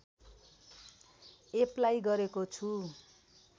apply गरेको छु